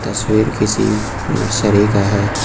तस्वीर किसी नर्सरी का है।